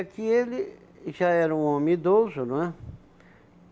É que ele já era um homem idoso, não é?